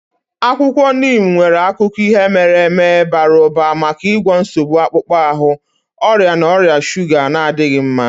Akwụkwọ Neem nwere akụkọ ihe mere eme bara ụba maka ịgwọ nsogbu akpụkpọ ahụ, ọrịa na ọrịa shuga na-adịghị mma.